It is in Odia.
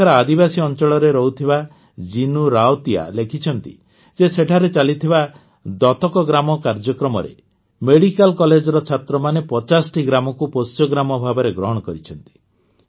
ଏଠାକାର ଆଦିବାସୀ ଅଂଚଳରେ ରହୁଥିବା ଜିନୁ ରାଓତିଆ ଲେଖିଛନ୍ତି ଯେ ସେଠାରେ ଚାଲିଥିବା ଦତକ ଗ୍ରାମ କାର୍ଯ୍ୟକ୍ରମରେ ମେଡ଼ିକାଲ କଲେଜର ଛାତ୍ରମାନେ ୫୦ଟି ଗ୍ରାମକୁ ପୋଷ୍ୟଗ୍ରାମ ଭାବରେ ଗ୍ରହଣ କରିଛନ୍ତି